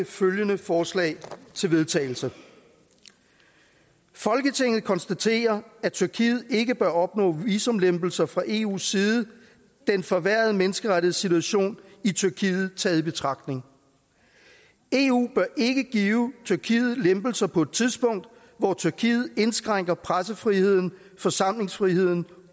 følgende forslag til vedtagelse folketinget konstaterer at tyrkiet ikke bør opnå visumlempelser fra eus side den forværrede menneskerettighedssituation i tyrkiet taget i betragtning eu bør ikke give tyrkiet lempelser på et tidspunkt hvor tyrkiet indskrænker pressefriheden forsamlingsfriheden